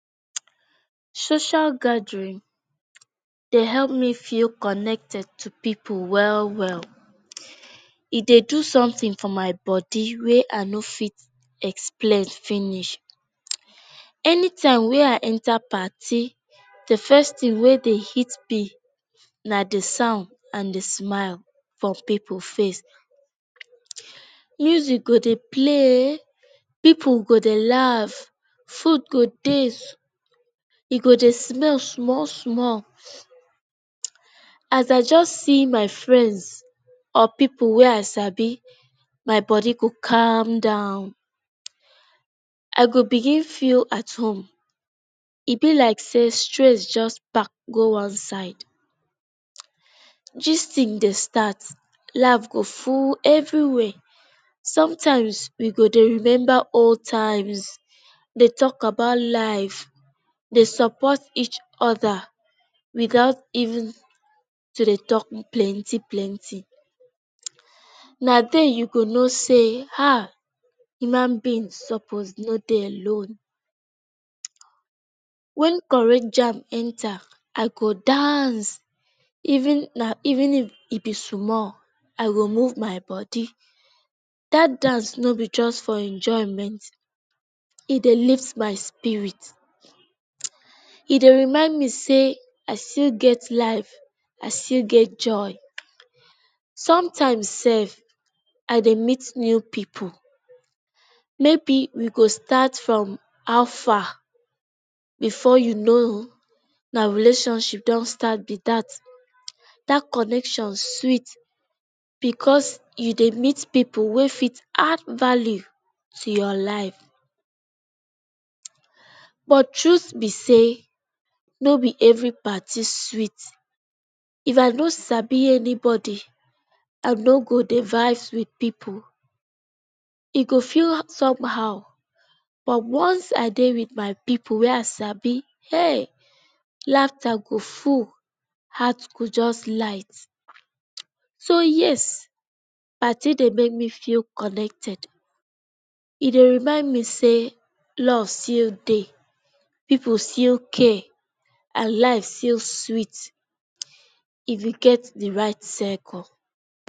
Social gathering dey help me feel connect to pipu well well. E dey do something for my body wey I no fit explain finish. Anytime wey I enter parti, the first thing wey dey hit me na the sound and the smile for pipu face. Music go dey play, pipu go dey laugh, food go dey, e go dey smell small-small. As I just see my friends or pipu wey I sabi, my body go calm down. I go begin feel at home. E be like say stress just pack go one side. Gisting dey start. Laugh go full everywhere. Sometimes we go dey remember old times. Dey talk about life. Support each other without even dey talk plenty plenty. Na then you go know say human beings no suppose dey alone. When correct jam enter, I go dance. Even if e be small. I go move my body. Dat dance no be just for enjoyment. E dey lift my spirit. E dey remind me say, I still get life, I still get joy. Sometimes sef, I dey meet new pipu. Maybe we go start from “how fa?” Before you know, na relationship don start be dat. Dat connection sweet because e dey meet pipu wey fit add value to your life. But truth be say, no be every party sweet. If I no sabi anybody, I no go dey vibes with pipu. E go feel somehow but, once I dey with my pipu wey I sabi, hey! Laughter go full, heart go just light. So, yes, party dey make me feel connected. E dey remind me say love still dey, pipu still care, and life still sweet if you get the right circle.